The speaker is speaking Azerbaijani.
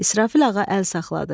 İsrafil ağa əl saxladı.